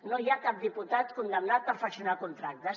no hi ha cap diputat condemnat per fraccionar contractes